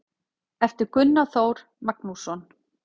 eftir gunnar þór magnússon